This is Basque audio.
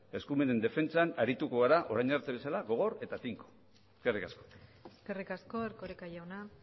eskumenen defentsan arituko gara orain arte bezala gogor eta tinko eskerrik asko eskerrik asko erkoreka jauna